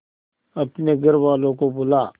अपने घर वालों को बुला